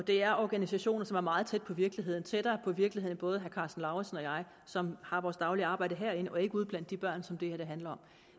det er organisationer som er meget tæt på virkeligheden tættere på virkeligheden end både herre karsten lauritzen og jeg som har vores daglige arbejde herinde og ikke ude blandt de børn som det her handler